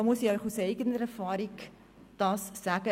Ich muss Ihnen aus eigener Erfahrung sagen: